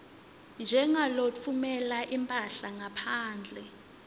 njengalotfumela imphahla ngaphandle